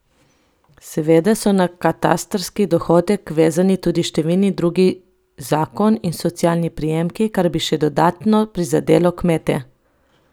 Seveda so na katastrski dohodek vezani tudi številni drugi zakon in socialni prejemki, kar bi še dodatno prizadelo kmete.